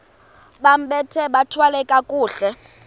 bambathe bathwale kakuhle